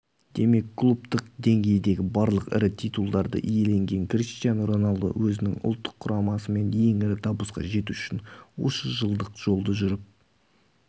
демек клубтық деңгейдегі барлық ірі титулдарды иеленген криштиану роналду өзінің ұлттық құрамасымен ең ірі табысқа жету үшін осы жылдық жолды жүріп